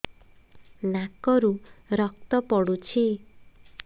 ନାକରୁ ରକ୍ତ ପଡୁଛି